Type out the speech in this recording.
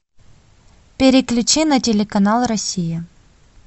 переключи на телеканал россия